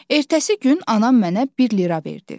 Ertəsi gün anam mənə bir lira verdi.